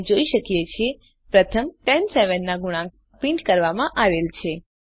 આપણે જોઈ શકીએ છીએ પ્રથમ 10 7 ના ગુણાંક પ્રિન્ટ કરવામાં આવેલ છે